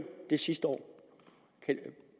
det sidste år